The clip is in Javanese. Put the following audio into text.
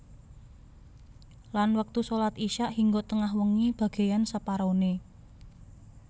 Lan wektu shalat Isya hingga tengah wengi bagéyan separoné